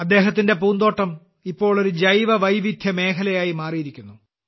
അദ്ദേഹത്തിന്റെ പൂന്തോട്ടം ഇപ്പോൾ ഒരു ജൈവവൈവിധ്യ മേഖലയായി മാറിയിരിക്കുന്നു